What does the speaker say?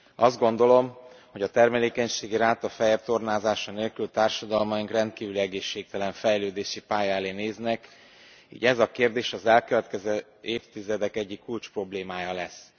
Azt gondolom, hogy a termékenységi ráta feljebb tornázása nélkül társadalmaink rendkívül egészségtelen fejlődési pálya elé néznek, így ez a kérdés az elkövetkező évtizedek egyik kulcsproblémája lesz.